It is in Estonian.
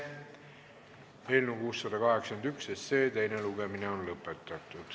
Eelnõu 681 teine lugemine on lõppenud.